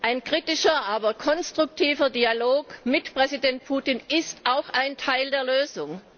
Ein kritischer, aber konstruktiver Dialog mit Präsident Putin ist auch ein Teil der Lösung.